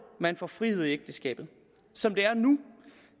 man får frihed i ægteskabet som det er nu